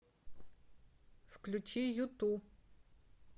включи юту